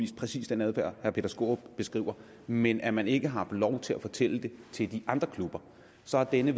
præcis den adfærd herre peter skaarup beskriver men at man ikke har haft lov til at fortælle det til de andre klubber så har denne